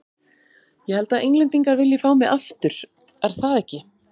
Ég held að Englendingar vilji fá mig aftur, er það ekki?